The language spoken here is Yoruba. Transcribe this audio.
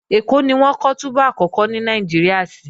Ẹ̀kọ́ ni wọ́n kọ́ túbú àkọ́kọ́ ní Nàìjíríà sí